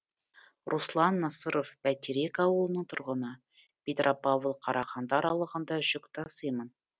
руслан насыров бәйтерек ауылының тұрғыны петропавл қарағанды аралығында жүк тасимын